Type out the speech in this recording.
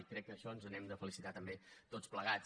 i crec que d’això ens n’hem de felicitar també tots plegats